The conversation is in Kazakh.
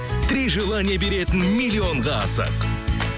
три желания беретін миллионға асық